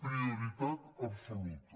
prioritat absoluta